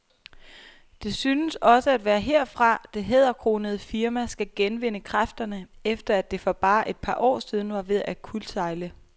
Det synes også at være herfra, det hæderkronede firma skal genvinde kræfterne, efter at det for bare et par år siden var ved at kuldsejle.